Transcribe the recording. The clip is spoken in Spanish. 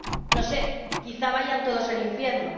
No sé, quizá vayan todos al infierno.